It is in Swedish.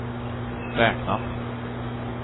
räknat